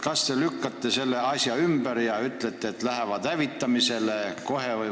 Kas te lükkate selle väite ümber ja ütlete, et need lähevad kohe hävitamisele?